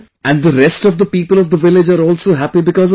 And the rest of the people of the village are also happy because of this